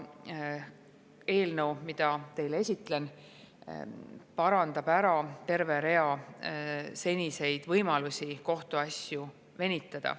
See eelnõu, mida teile esitlen, ära terve rea seniseid võimalusi kohtuasju venitada.